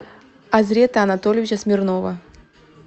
азрета анатольевича смирнова